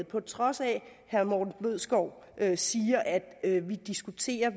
på trods af at herre morten bødskov siger at vi diskuterer